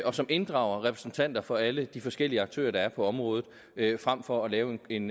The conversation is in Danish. og som inddrager repræsentanter for alle de forskellige aktører der er på området frem for at lave en